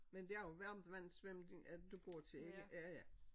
Men det er varmtvandssvømning at du går til ikke ja ja